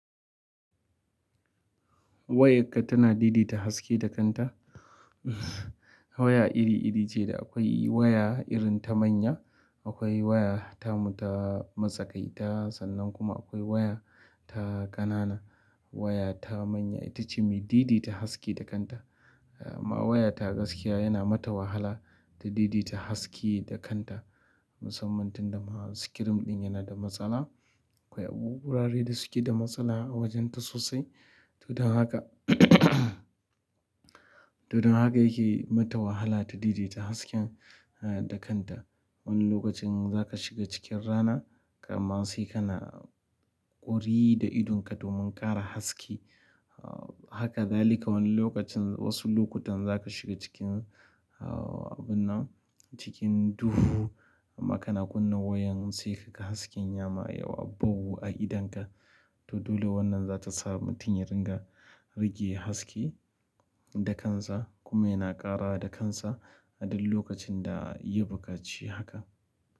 Wayarka tana daidai ta haske da kanta. Waya iri iri ce, da akwai waya irin ta manya, akwai waya tamu ta matakaita sannan kuma akwai waya ta qanana. Waya ta manya ita ce mai didi ta haske da kanta. Wayata gaskiya yana mata wahala ta daidai ta haske da kanta. Musamman tunda ma screen ɗin yana da matsala akwai abubuwa dai da suke da matsala a wajenta sosai. To don haka, to don haka yake mata wahala ta daidai ta haske da kanta. Wani lokacin za ka shiga cikin rana, kamar sai kana ƙuri da idonka domin ƙara haske. Haka dzalika wani lokacin wasu lokutan za ka shiga cikin, ah abun nan, cikin duhu amma kana kunna wayan sai ka ga hasken yama yawa bowu a idonka. To dole wannan za ta sa mutum ya ringa rage haske da kansa kuma yana ƙara da kansa a duk lokacin da ya buƙaci haka.